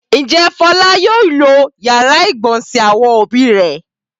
Ǹjẹ́ Fọlá yóò lo ìyàrá-ìgbọ̀nsẹ̀ àwọn òbí rẹ̀?